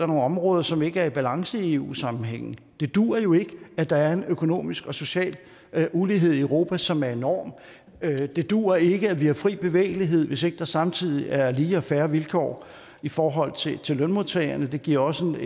nogle områder som ikke er i balance i eu sammenhæng det duer jo ikke at der er en økonomisk og social ulighed i europa som er enorm det duer ikke at vi har fri bevægelighed hvis ikke der samtidig er lige og fair vilkår i forhold til til lønmodtagerne det giver også en